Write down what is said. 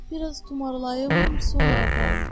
Bir az tumarlayım, sonra aparım.